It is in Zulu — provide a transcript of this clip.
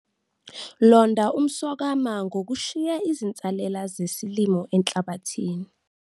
Londa umswakama ngokushiya izinsalela zesilimo enhlabathini.